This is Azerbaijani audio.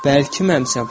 Bəlkəmi sən?